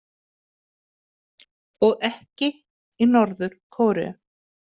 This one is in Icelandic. Og ekki í Norður- Kóreu.